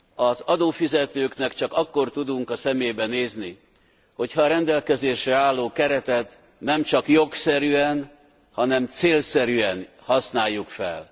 Az adófizetőknek csak akkor tudunk a szemébe nézni, hogy ha a rendelkezésre álló keretet nem csak jogszerűen, hanem célszerűen használjuk fel.